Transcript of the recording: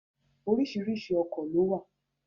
Oríṣiríṣi ọkọ̀ ló wà